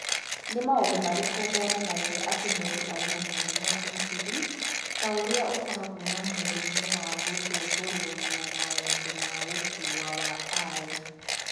Nĩ maũndũ marĩkũ monanagia atĩ mũndũ arĩ na mũrimũ wa insulin ta ũrĩa ũkoragwo na mũrimũ wa Gũthumbũrũo na Maũndũ ma Gũkũra wa I?